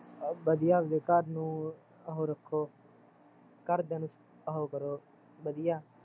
ਆ ਵਧੀਆ ਆਪਣੇ ਘਰ ਨੂੰ, ਉਹ ਰੱਖੋ ਘਰਦਿਆ ਨੂੰ, ਉਹ ਕਰੋ ਵਧੀਆ